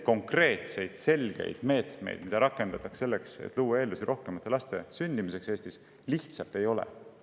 Konkreetseid, selgeid meetmeid, mida rakendada selleks, et luua eeldusi rohkemate laste sündimiseks Eestis, lihtsalt ei ole.